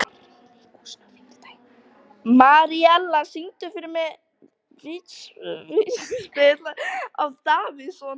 Marella, syngdu fyrir mig „Vítisengill á Davidson“.